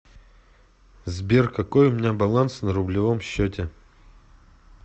сбер какой у меня баланс на рублевом счете